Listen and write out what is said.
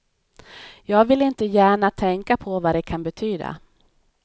Jag vill inte gärna tänka på vad det kan betyda.